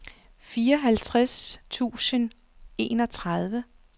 fireogtres tusind og enogtredive